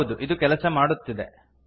ಹೌದು ಇದು ಕೆಲಸ ಮಾಡುತ್ತಿದೆ